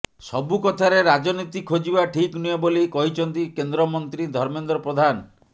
ସବୁକଥାରେ ରାଜନୀତି ଖୋଜିବା ଠିକ୍ ନୁହେଁ ବୋଲି କହିଛନ୍ତି କେନ୍ଦ୍ରମନ୍ତ୍ରୀ ଧର୍ମେନ୍ଦ୍ର ପ୍ରଧାନ